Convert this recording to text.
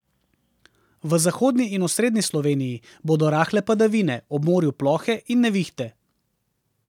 V zahodni in osrednji Sloveniji bodo rahle padavine, ob morju plohe in nevihte.